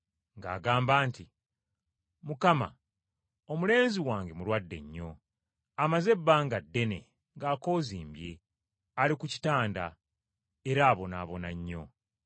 ng’agamba nti, “Mukama omulenzi wange mulwadde nnyo, amaze ebbanga ddene ng’akoozimbye ali ku kitanda era abonaabona nnyo.”